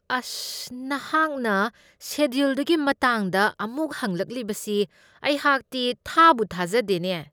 ꯑꯁ, ꯅꯍꯥꯛꯅ ꯁꯦꯗ꯭ꯌꯨꯜꯗꯨꯒꯤ ꯃꯇꯥꯡꯗ ꯑꯃꯨꯛ ꯍꯪꯂꯛꯂꯤꯕꯁꯤ ꯑꯩꯍꯥꯛꯇꯤ ꯊꯥꯕꯨ ꯊꯥꯖꯗꯦꯅꯦ !